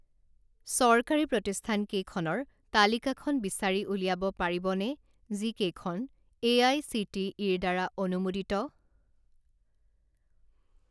চৰকাৰী প্ৰতিষ্ঠানকেইখনৰ তালিকাখন বিচাৰি উলিয়াব পাৰিবনে যিকেইখন এআইচিটিইৰ দ্বাৰা অনুমোদিত?